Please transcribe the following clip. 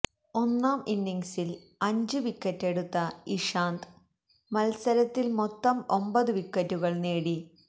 ഒന്നാം ഇന്നിങ്സില് അഞ്ചു വിക്കറ്റെടുത്ത ഇഷാന്ത് മത്സരത്തില് മൊത്തം ഒമ്പത് വിക്കറ്റുകള് നേടി